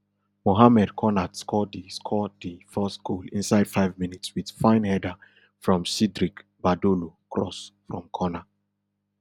mohamed konat score di score di first goal inside five minutes wit fine header from cdric badolo cross from corner